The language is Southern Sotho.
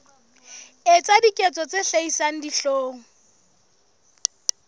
etsa diketso tse hlabisang dihlong